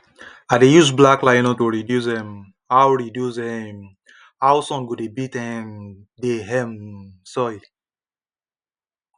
i dey use black nylon to reduce um how reduce um how sun go dey beat um the um soil